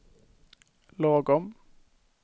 lagom